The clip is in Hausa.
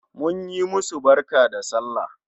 Mun yi musu barka da sallah